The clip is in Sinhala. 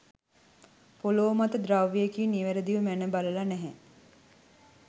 පොළව මත ද්‍රව්‍යයකින් නිවැරදිව මැන බලලා නැහැ.